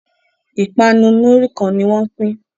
ipanu Muri kán ní wón ń pin